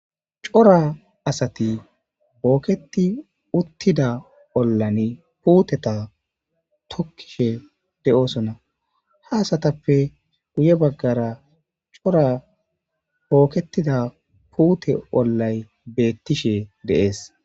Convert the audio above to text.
Cora asati booketti uuttida oolanni puutte tookishe de'iossonna ha asatappe guye baggara cora bookettida puutte oolatti de'iossonna ha asatappe guye baggara bookettida puutte oolatti bettishe de'es